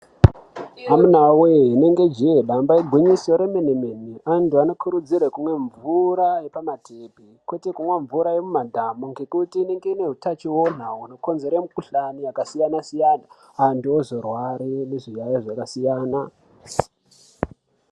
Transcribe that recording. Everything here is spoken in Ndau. Amunawe taiti ijee damba igwinyiso remene mene antu anokurudzirwa kumwa mvura yepama tepi kwete kumwa mvura yemumadhamu ngekuti inenge ine hutachiona hunokonzera mikhuhlane yakasiyana siyana antu ozorwara nezviyaiyo zvakasiyana siyana.